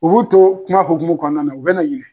U b'u to kuma hokumu kɔnɔna na u bɛ na ɲinɛ.